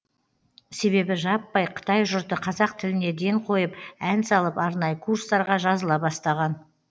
себебі жаппай қытай жұрты қазақ тіліне ден қойып ән салып арнайы курстарға жазыла бастаған